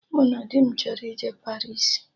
Mụ na di m chọrọ ije Paris